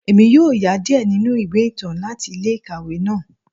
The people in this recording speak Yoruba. Emi yoo ya diẹ ninu iwe itan lati ile-ikawe naa.